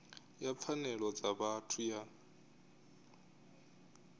ya pfanelo dza vhathu ya